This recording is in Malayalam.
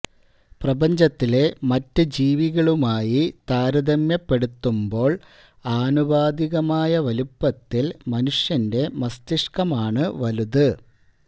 പ്രപഞ്ചത്തിലെ മറ്റ് ജീവികളുമായി താരതമ്യപ്പെടുത്തുമ്പോള് ആനുപാതികമായ വലുപ്പത്തില് മനുഷ്യന്റെ മസ്തിഷ്കമാണ് വലുത്